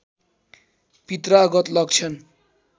पित्रागत लक्षण